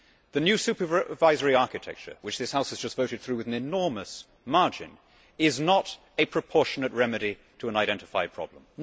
The new supervisory architecture, which this House has just voted through with an enormous margin, is not a proportionate remedy to an identified problem.